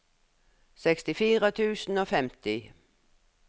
sekstifire tusen og femti